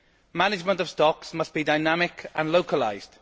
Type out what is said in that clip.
Management of stocks must be dynamic and localised.